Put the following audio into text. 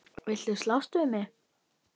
Viltu slást við mig?